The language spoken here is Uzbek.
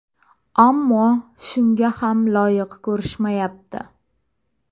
Ammo shunga ham loyiq ko‘rishmayapti.